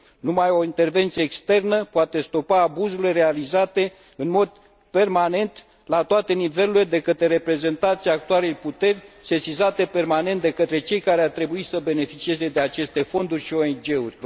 Numai o intervenție externă poate stopa abuzurile realizate în mod permanent, la toate nivelurile, de către reprezentanții actualei puteri, sesizate permanent de către cei care ar trebui să beneficieze de aceste fonduri și ONG uri.